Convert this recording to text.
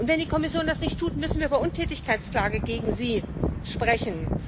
Und wenn die Kommission das nicht tut, müssen wir über eine Untätigkeitsklage gegen sie sprechen.